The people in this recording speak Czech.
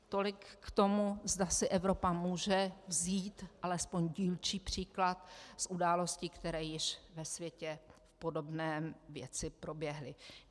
Tolik k tomu, zda si Evropa může vzít alespoň dílčí příklad z událostí, které již ve světě v podobné věci proběhly.